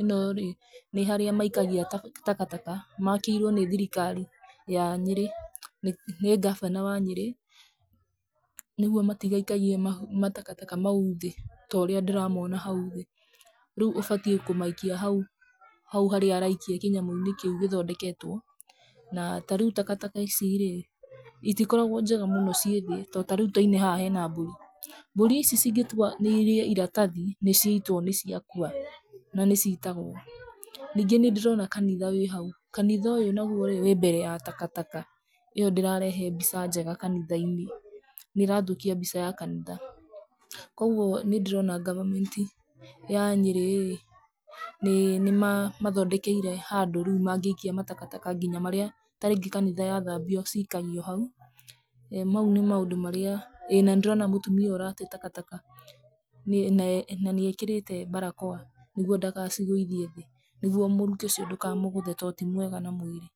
ĩno-rĩ nĩ harĩa maikagia takataka makĩirũo nĩ thirikari ya Nyeri, nĩ gavana wa Nyeri nĩguo matigaikagie matakataka mau thĩ ta ũria ndĩramona hau thĩ. Rĩu ũbataire kũmaikie hau, hau harĩa araikia kĩnyamũ kĩu gĩthondeketwo. Na ta rĩu takataka ici rĩ, itikoragũo ciĩ njega mũno ciĩ thĩ, rĩu ta one hau hena mbũri. Mbũri ici cingĩtua irĩe iratathi nĩ ciaitũo nĩ ciakua na nĩ citagũo. Nyingĩ nĩ ndĩrona kanitha wĩ hau. Kanitha uyu naguo wĩ mbere ya takataka. Ĩyo ndĩrarehe mbica njega kanitha inĩ, nĩ irathũkia mbica ya kanitha. Koguo nĩ ndĩrona government ya Nyeri rĩ, nĩ ĩmathondekeire handu mangĩikia matakataka nginya marĩa ta rĩngĩ kanitha yathambiũ cikagio hau. Mau nĩ maundu marĩa, na nĩ ndĩrona mutumia ũrate takataka na nĩ ekĩrĩte barakoa nĩgwo ndagacigũithie thĩ, nĩgwo mũrukĩ ũcio ndũkamũgũthe to ti mũega.